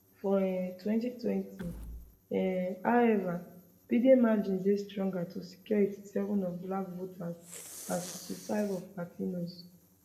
for um 2020 um howeva biden margins dey stronger to secure 87 of black voters and 65 of latinos